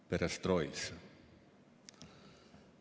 Perestroitsa.